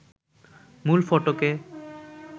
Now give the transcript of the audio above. মূল ফটকে